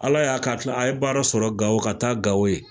Ala y'a kɛ a ye baara sɔrɔ Gawo ka taa Gawo yen.